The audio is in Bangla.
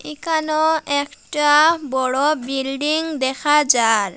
এখানেও একটি বড় বিল্ডিং দেখা যার ।